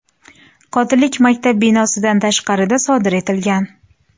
Qotillik maktab binosidan tashqarida sodir etilgan.